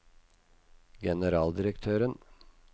generaldirektøren